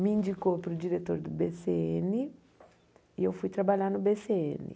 Me indicou para o diretor do bê cê êne e eu fui trabalhar no bê cê êne.